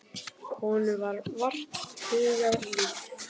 Honum var vart hugað líf.